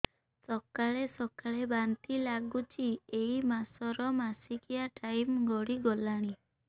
ସକାଳେ ସକାଳେ ବାନ୍ତି ଲାଗୁଚି ଏଇ ମାସ ର ମାସିକିଆ ଟାଇମ ଗଡ଼ି ଗଲାଣି